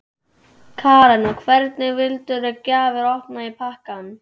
Karen: Og hvernig valdirðu gjafir ofan í pakkann?